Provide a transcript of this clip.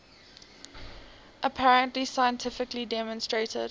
apparently scientifically demonstrated